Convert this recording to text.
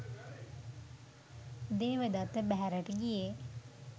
දේවදත්ත බැහැරට ගියේ